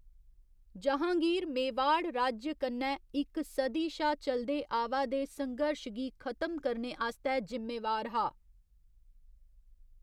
जहाँगीर मेवाड़ राज्य कन्नै इक सदी शा चलदे आवा दे संघर्श गी खत्म करने आस्तै जिम्मेवार हा।